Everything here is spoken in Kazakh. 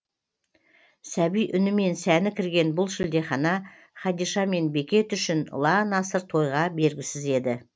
сәби үнімен сәні кірген бұл шілдехана хадиша мен бекет үшін ұлан асыр тойға бергісіз еді